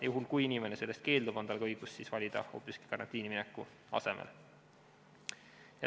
Juhul, kui inimene sellest keeldub, on tal ka õigus valida hoopis karantiini minek.